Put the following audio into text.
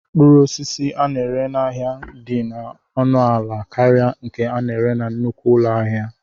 Mkpụrụ osisi a na-ere n'ahịa dị ọnụ ala karịa nke a na-ere na nnukwu ụlọ ahịa.